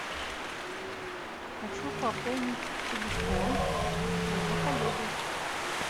хочу пополнить телефон своего коллеги